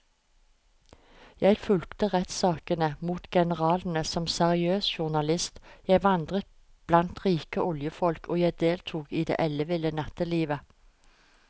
Jeg fulgte rettssakene mot generalene som seriøs journalist, jeg vandret blant rike oljefolk og jeg deltok i det elleville nattelivet.